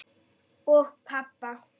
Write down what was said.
Og pabba.